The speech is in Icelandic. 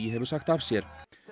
hefur sagt af sér